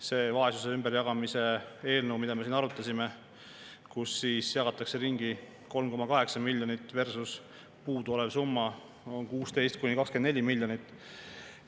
See vaesuse ümberjagamise eelnõu, mida me siin arutasime – sellega jagatakse ringi 3,8 miljonit, puuduolev summa on 16–24 miljonit.